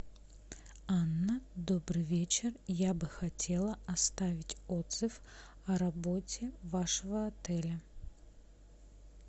анна добрый вечер я бы хотела оставить отзыв о работе вашего отеля